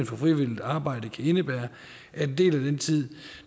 for frivilligt arbejde kan indebære at en del af den tid